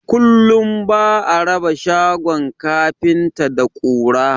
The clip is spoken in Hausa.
Kullum ba'a raba shagon kafinta da ƙura